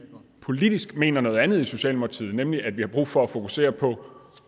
politisk mener noget andet i socialdemokratiet nemlig at vi har brug for at fokusere på